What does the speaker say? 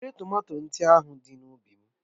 Wèré tomato ndị ahụ dị n'ubi m.